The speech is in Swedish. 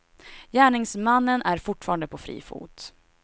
Gärningsmannen är fortfarande på fri fot.